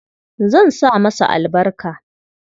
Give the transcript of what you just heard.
Zan sa masa albarka.